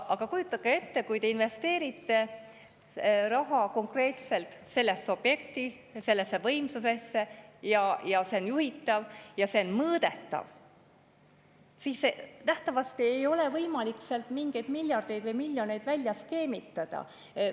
Aga kujutage ette, kui te investeerite raha konkreetselt sellesse objekti, sellesse võimsusesse, mis on juhitav ja mõõdetav, siis nähtavasti ei ole võimalik mingeid miljardeid või miljoneid välja skeemitada.